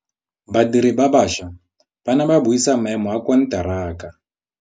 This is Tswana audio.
Badiri ba baša ba ne ba buisa maêmô a konteraka.